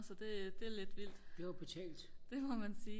så det det er lidt vildt det må man sige